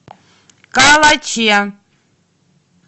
калаче